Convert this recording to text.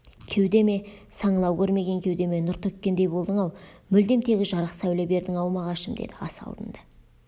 кеудеме саңылау көрмеген кеудеме нұр төккендей болдың-ау мүлдем тегі жарық сәуле бердің-ау мағашым деді ас алдында